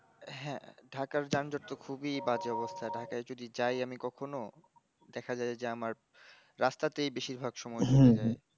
হাঁ ঢাকার যানজট তহ খুব বাজে অবস্তা ঢাকার আমি যাই কখনও দেখাযায় যে আমার রাস্তাতেই বেশিরভাগ সময় চলে যায়